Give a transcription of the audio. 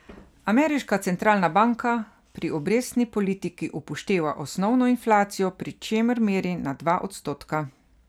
Ameriška centralna banka pri obrestni politiki upošteva osnovno inflacijo, pri čemer meri na dva odstotka.